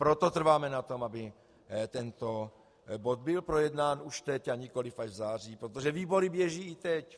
Proto trváme na tom, aby tento bod byl projednán už teď, a nikoliv až v září, protože výbory běží i teď.